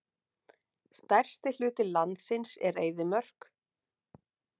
Stærsti hluti landsins er eyðimörk.